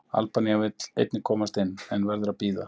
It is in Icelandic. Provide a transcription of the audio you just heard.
Albanía vill einnig komast inn, en verður að bíða.